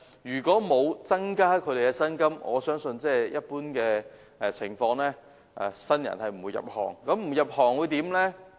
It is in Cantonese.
如果不增加小巴司機的薪金，我相信在一般情況下，不會有新人入行。